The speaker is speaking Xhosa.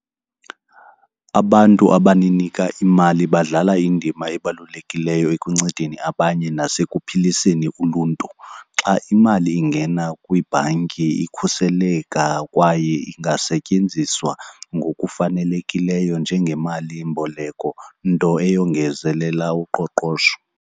Abantu abaninika imali badlala indima ebalulekileyo ekuncedeni abanye nasekuphiliseni uluntu. Xa imali ingena kwibhanki ikhuseleka kwaye ingasetyenziswa ngokufanelekileyo njengemalimboleko, nto eyongezelela uqoqosho.